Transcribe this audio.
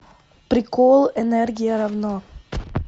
прикол энергия равно